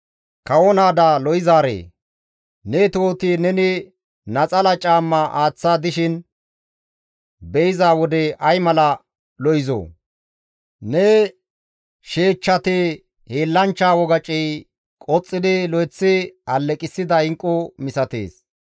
«Kawo naada lo7izaaree! Ne tohoti neni naxala caamma aaththa dishin be7iza wode ay mala lo7izoo! Ne sheechchati hiillanchcha wogacey qoxxidi lo7eththi alleqissida inqqu misatees.